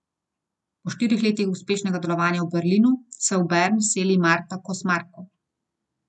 Po štirih letih uspešnega delovanja v Berlinu se v Bern seli Marta Kos Marko.